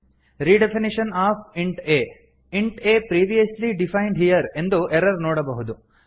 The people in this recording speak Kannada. redefinition of int a int a previously defined here ಎಂದು ಎರರ್ ನೋಡಬಹುದು